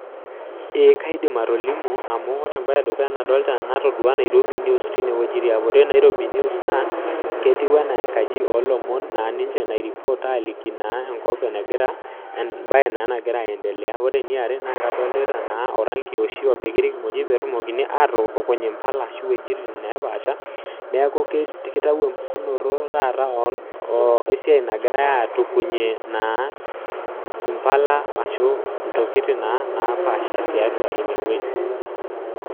Amu etoki nadolita naigero Nairobi news naa ore ina naa enkaji oolomon nasotunyeki ilomon ashu imbaa naataasate peetumokini aatutukuny impala ashu intokiting napaasha tiatua ine wueji oolomon